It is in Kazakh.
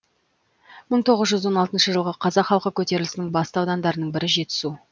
мың тоғыз жүз он алтыншы жылғы қазақ халқы көтерілісінің басты аудандарының бірі жетісу